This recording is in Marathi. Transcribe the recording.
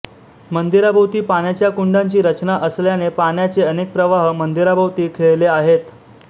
मंदिराभोवती पाण्याच्या कुंडांची रचना असल्याने पाण्याचे अनेक प्रवाह मंदिराभोवती खेळते आहेत